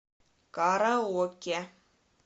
караоке